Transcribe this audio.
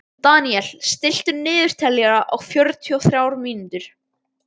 Deníel, stilltu niðurteljara á fjörutíu og þrjár mínútur.